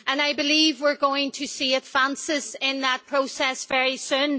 I believe we're going to see advances in that process very soon.